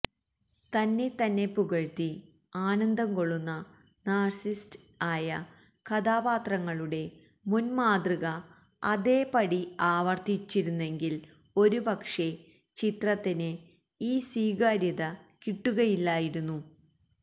തന്നത്തെന്നെ പുകഴ്ത്തി ആനന്ദംകൊള്ളുന്ന നാര്സിസിസ്റ്റ് ആയ കഥാപാത്രങ്ങളുടെ മുന്മാതൃക അതേപടി ആവര്ത്തിച്ചിരുന്നെങ്കില് ഒരുപക്ഷേ ചിത്രത്തിന് ഈ സ്വീകാര്യത കിട്ടുകയില്ലായിരുന്നു